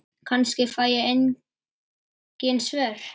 Kannski fæ ég engin svör.